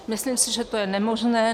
Myslím si, že to je nemožné.